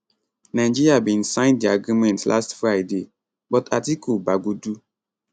nigeria bin sign di agreement last friday but atiku bagudu